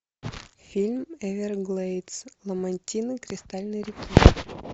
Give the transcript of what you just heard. фильм эверглейдс ламантины кристальной реки